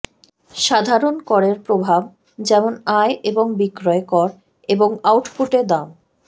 সাধারণ করের প্রভাব যেমন আয় এবং বিক্রয় কর এবং আউটপুটে দাম